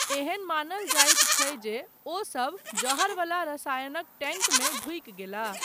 एहन मानल जायत छै जे ओसब जहरवला रसायनक टैंकमे ढुकि गेलाह।